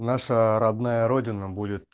наша родная родина будет